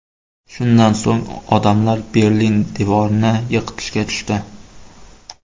Shundan so‘ng odamlar Berlin devorini yiqitishga tushdi.